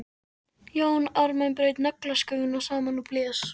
Jón Ármann braut naglasköfuna saman og blés.